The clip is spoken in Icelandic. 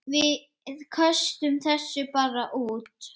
Við köstum þessu bara út.